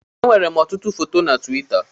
Enwèrè m ọtụtụ foto na Tuwita.